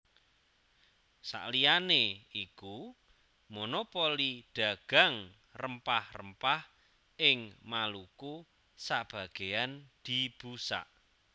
Saliyané iku monopoli dagang rempah rempah ing Maluku sabagéyan dibusak